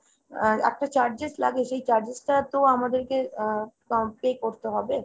আহ একটা charges লাগে সেই charges টা তো আমাদেরকে আহ pay করতে হবে।